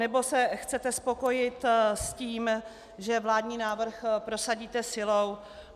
Nebo se chcete spokojit s tím, že vládní návrh prosadíte silou?